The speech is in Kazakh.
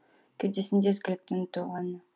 кеудесінде ізгіліктің толы әні